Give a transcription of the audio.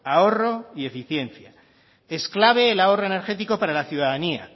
ahorro y eficiencia es clave el ahorro energético para la ciudadanía